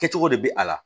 Kɛcogo de bɛ a la